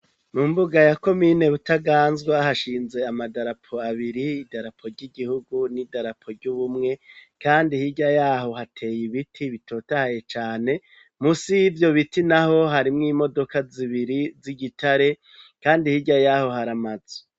Mu mbuga ya komine butaganzwa hashinze amadarapo abiri idarapo ry'igihugu n'idarapo ry'ubumwe kandi hirya yaho hateye ibiti bitotahaye cane musi y' ivyo biti naho harimwo imodoka zibiri z'igitare kandi hirya yaho hari amazu.